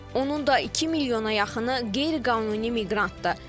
Onun da iki milyona yaxını qeyri-qanuni miqrantdır.